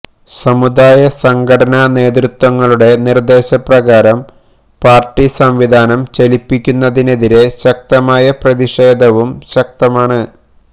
സമുദായസംഘടനാ നേതൃത്വങ്ങളുടെ നിര്ദ്ദേശപ്രകാരം പാര്ട്ടി സംവിധാനം ചലിപ്പിക്കുന്നതിനെതിരെ ശക്തമായ പ്രതിഷേധവും ശക്തമാണ്